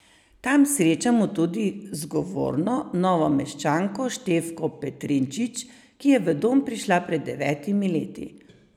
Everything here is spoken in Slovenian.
Tam srečamo tudi zgovorno Novomeščanko Štefko Petrinčič, ki je v dom prišla pred devetimi leti.